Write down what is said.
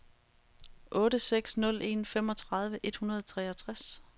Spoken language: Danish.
otte seks nul en femogtredive et hundrede og treogtres